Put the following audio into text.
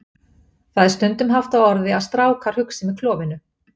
Það er stundum haft á orði að strákar hugsi með klofinu.